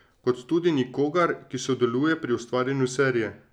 Kot tudi nikogar, ki sodeluje pri ustvarjanju serije.